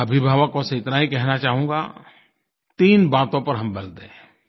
मैं अभिभावकों से इतना ही कहना चाहूँगा तीन बातों पर हम बल दें